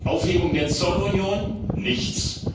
Aufhebung der Zollunion nichts!